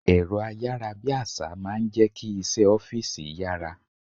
Èrọ ayárabíàṣá máa ń jẹ́ kí iṣẹ́ ọ́fíìsì yára.